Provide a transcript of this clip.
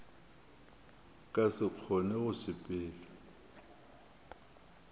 ka se kgone go sepela